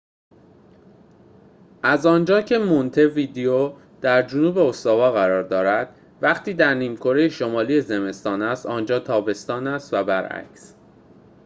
از آنجا که مونته ویدئو در جنوب استوا قرار دارد وقتی در نیمکره شمالی زمستان است آنجا تابستان است و برعکس